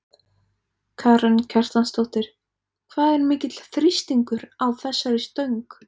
Karen Kjartansdóttir: Hvað er mikill þrýstingur á þessari stöng?